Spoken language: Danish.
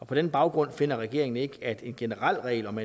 på den baggrund finder regeringen ikke at en generel regel om